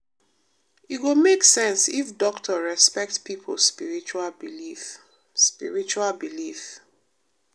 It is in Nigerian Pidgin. e go make sense if doctor respect pipo spiritual belief. spiritual belief.